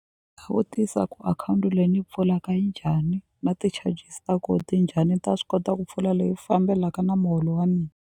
Vutisa ku akhawunti leyi ni yi pfulaka njhani na ti-charges ta ko ti njhani ni ta swi kota ku pfula leyi fambelaka na muholo wa .